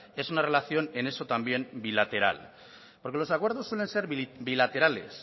es una relación en eso también bilateral porque los acuerdos suelen ser bilaterales